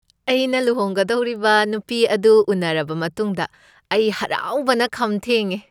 ꯑꯩꯅ ꯂꯨꯍꯣꯡꯒꯗꯧꯔꯤꯕ ꯅꯨꯄꯤ ꯑꯗꯨ ꯎꯅꯔꯕ ꯃꯇꯨꯡꯗ ꯑꯩ ꯍꯔꯥꯎꯕꯅ ꯈꯝ ꯊꯦꯡꯉꯦ꯫